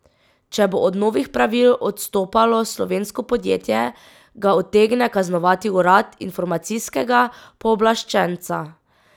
Če bo od novih pravil odstopalo slovensko podjetje, ga utegne kaznovati Urad informacijskega pooblaščenca.